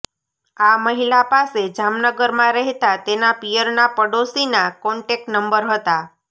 આ મહિલા પાસે જામનગરમાં રહેતા તેના પિયરના પડોશીના કોન્ટેક્ટ નંબર હતા